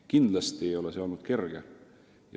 Kindlasti ei ole see olnud kerge.